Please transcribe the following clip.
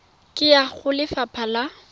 ka ya go lefapha la